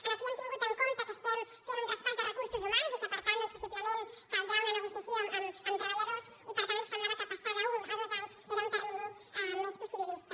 aquí hem tingut en compte que estem fent un traspàs de recursos humans i que per tant doncs possiblement caldrà una negociació amb treballadors i per tant semblava que passar d’un a dos anys era un termini més possibilista